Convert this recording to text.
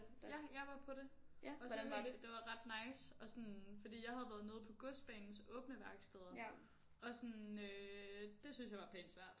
Ja jeg var på det og så fordi det var ret nice og sådan fordi jeg havde været nede på godsbanens åbne værksteder og sådan øh det synes jeg var pænt svært